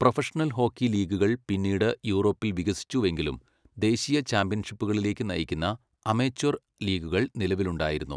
Professional hockey ലീഗുകൾ പിന്നീട് യൂറോപ്പിൽ വികസിച്ചുവെങ്കിലും, ദേശീയ ചാമ്പ്യൻഷിപ്പുകളിലേക്ക് നയിക്കുന്ന അമച്വർ ലീഗുകൾ നിലവിലുണ്ടായിരുന്നു.